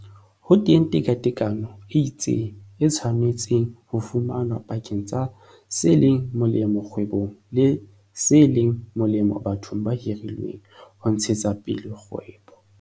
Ho teng tekatekano e itseng, e tshwanetseng ho fumanwa pakeng tsa se leng molemo kgwebong le se leng molemo bathong ba hirilweng ho ntshetsa pele kgwebo.